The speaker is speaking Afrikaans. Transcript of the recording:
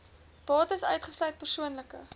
bates uitgesluit persoonlike